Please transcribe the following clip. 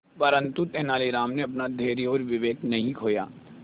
परंतु तेलानी राम ने अपना धैर्य और विवेक नहीं खोया